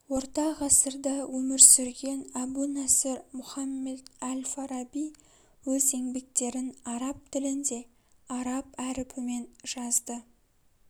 орта ғасырда өмір сүрген әбу наср мухаммед әл-фараби өз еңбектерін араб тілінде араб әрпімен жазды